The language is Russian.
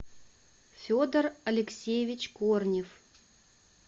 федор алексеевич корнев